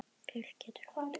Björk getur átt við